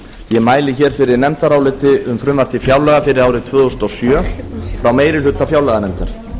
ég mæli hér fyrir nefndaráliti um frumvarp til fjárlaga fyrir árið tvö þúsund og sjö frá meiri hluta fjárlaganefndar